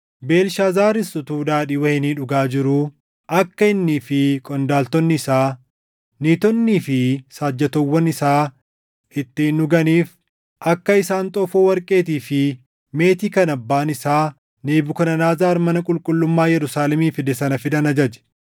Beelshaazaaris utuu daadhii wayinii dhugaa jiruu akka innii fi qondaaltonni isaa, niitonnii fi saajjatoowwan isaa ittiin dhuganiif akka isaan xoofoo warqeetii fi meetii kan abbaan isaa Nebukadnezar mana qulqullummaa Yerusaalemii fide sana fidan ajaje.